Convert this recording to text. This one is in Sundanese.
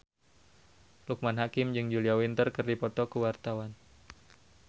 Loekman Hakim jeung Julia Winter keur dipoto ku wartawan